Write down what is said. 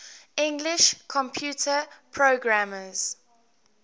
english computer programmers